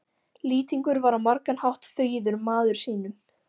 Lýtingur var á margan hátt fríður maður sýnum.